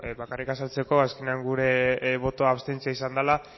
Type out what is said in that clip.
bai bakarrik azaltzeko azkenean gure botoa abstentzioa izan dala